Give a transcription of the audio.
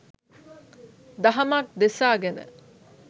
දහමක් දෙසා ගෙන